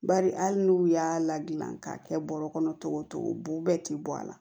Bari hali n'u y'a ladilan k'a kɛ bɔrɔ kɔnɔ cogo o cogo bo bɛɛ ti bɔ a la